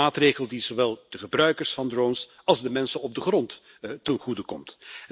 Een maatregel die zowel de gebruikers van drones als de mensen op de grond ten goede komt.